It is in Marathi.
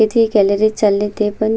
इथे एक गॅलरी चालले ते पण--